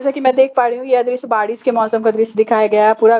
जैसे की मैं देख पा रही हूँ यह दृश्य बारिस के मौसम का दृश्य दिखाया हुआ है पूरा गा--